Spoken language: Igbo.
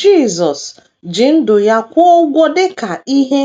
Jisọs ji ndụ ya kwụọ ụgwọ dị ka ihe